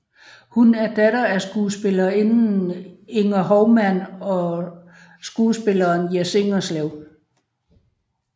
Hun er datter af skuespillerinden Inger Hovman og skuespilleren Jess Ingerslev